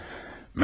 Mərhaba.